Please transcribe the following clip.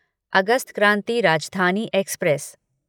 August Kranti Rajdhani express